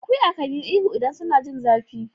Akuya kan yi ihu idan suna jin zafi.